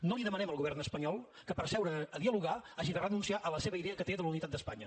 no demanem al govern espanyol que per seure a dialogar hagi de renunciar a la seva idea que té de la unitat d’espanya